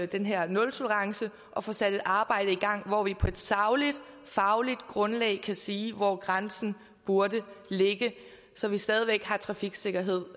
den her nultolerance og får sat et arbejde i gang hvor vi på et sagligt fagligt grundlag kan sige hvor grænsen burde ligge så vi stadig væk har trafiksikkerhed